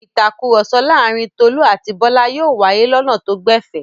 Ìtakùrọ̀sọ láàárin Tolú àti Bọ́lá yóò wáyé lọnà tó gbẹ̀fẹ̀.